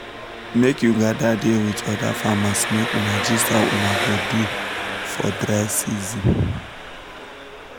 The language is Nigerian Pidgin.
make you gather da with other farmers make una gist how una go do for dry season